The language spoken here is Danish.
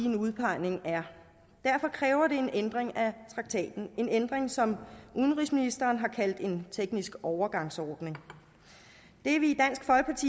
en udpegning er derfor kræver det en ændring af traktaten en ændring som udenrigsministeren har kaldt en teknisk overgangsordning det er vi